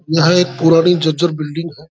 यह एक पुराने जजर बिल्डिंग है।